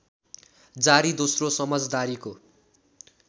जारी दोस्रो समझदारीको